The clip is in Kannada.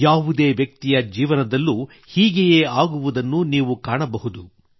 ಯಾವುದೇ ವ್ಯಕ್ತಿಯ ಜೀವನದಲ್ಲೂ ಹೀಗೆಯೇ ಆಗುವುದನ್ನು ನೀವು ಕಾಣಬಹುದು